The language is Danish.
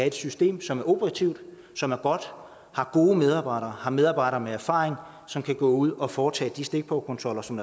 et system som er operativt som er godt har gode medarbejdere har medarbejdere med erfaring som kan gå ud og foretage de stikprøvekontroller som